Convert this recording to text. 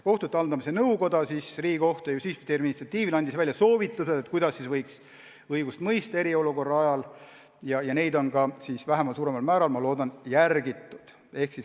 Kohtute haldamise nõukoda andis Riigikohtu ja Justiitsministeeriumi initsiatiivil välja soovitused, kuidas võiks õigust mõista eriolukorra ajal, ja neid soovitusi on ka vähemal või suuremal määral, ma loodan, järgitud.